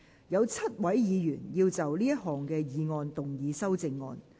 有7位議員要就這項議案動議修正案。